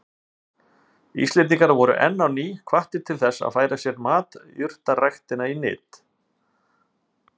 Íslendingar voru enn á ný hvattir til þess að færa sér matjurtaræktina í nyt.